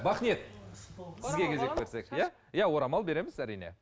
бақниет иә орамал береміз әрине